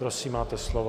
Prosím, máte slovo.